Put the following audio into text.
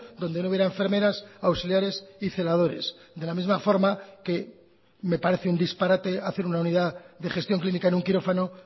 donde no hubiera enfermeras auxiliares y celadores de la misma forma que me parece un disparate hacer una unidad de gestión clínica en un quirófano